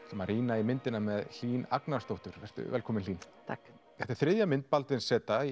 að rýna í myndina Hlín Agnarsdóttur vertu velkomin Hlín takk þetta er þriðja mynd Baldvins z